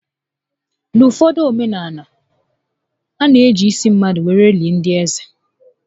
N'uụfọdụ omenaala, a na eji isi mmadụ were eli ndị eze